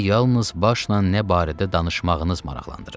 Məni yalnız başla nə barədə danışmağınız maraqlandırır.